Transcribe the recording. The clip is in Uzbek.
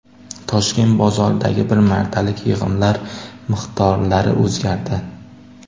Toshkent bozorlaridagi bir martalik yig‘imlar miqdorlari o‘zgardi.